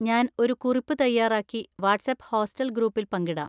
ഞാൻ ഒരു കുറിപ്പ് തയ്യാറാക്കി വാട്ട്‌സ്ആപ്പ് ഹോസ്റ്റൽ ഗ്രൂപ്പിൽ പങ്കിടാം.